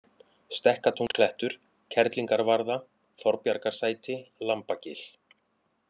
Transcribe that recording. Stekkatúnsklettur, Kerlingarvarða, Þorbjargarsæti, Lambagil